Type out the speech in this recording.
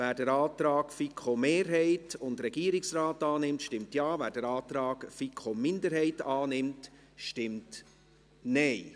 Wer den Antrag der FiKo-Mehrheit und des Regierungsrates annimmt, stimmt Ja, wer den Antrag der FiKo-Minderheit annimmt, stimmt Nein.